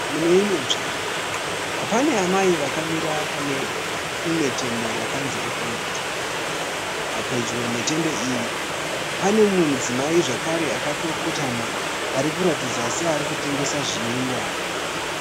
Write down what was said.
Muneimwe nzvimbo, pane amai vakamira pane imwe tende yakanzi ekoneti. Pedyo netende iyi, pane mumwe mudzimai zvakare akatokotama arikuratidza seari tengesa zvinwiwa.